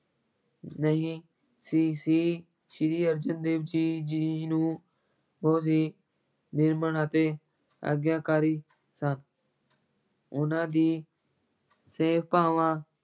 ਨਹੀਂ ਸੀ ਸੀ, ਸ੍ਰੀ ਅਰਜਨ ਦੇਵ ਜੀ ਜੀ ਨੂੰ ਬਹੁਤ ਹੀ ਨਿਮਰ ਅਤੇ ਆਗਿਆਕਾਰੀ ਸਨ ਉਨ੍ਹਾਂ ਦੀ ਸੇਵਭਾਵਾਂ